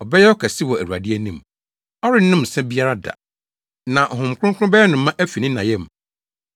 Ɔbɛyɛ ɔkɛse wɔ Awurade anim. Ɔrennom nsa biara da, na Honhom Kronkron bɛyɛ no ma afi ne na yam.